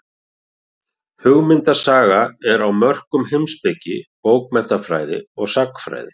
Hugmyndasaga er á mörkum heimspeki, bókmenntafræði og sagnfræði.